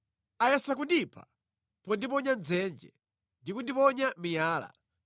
Ayesa kundipha pondiponya mʼdzenje ndi kundiponya miyala;